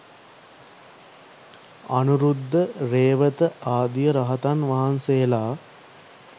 අනුරුද්ධ, රේවත ආදී රහතන් වහන්සේලා